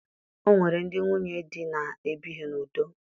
O nwere ndị nwunye di na-ebighi n'udo